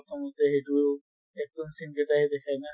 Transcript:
প্ৰথমতে সেইটো action scene কেটাই দেখায় ন